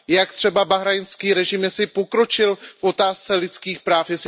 Jak třeba bahrajnský režim pokročil v otázce lidských práv?